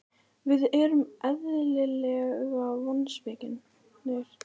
Við erum eðlilega vonsviknir.